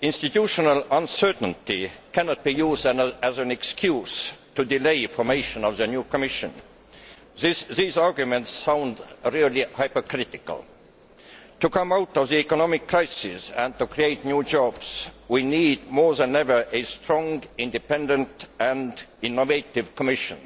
Institutional uncertainty cannot be used as an excuse to delay the formation of the new Commission. These arguments sound really hypocritical. To come out of the economic crisis and to create new jobs, we need more than ever a strong, independent and innovative Commission.